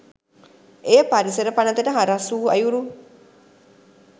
එය පරිසර පනතට හරස් වූ අයුරු